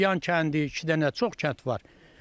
Şilyan kəndi, iki dənə, çox kənd var.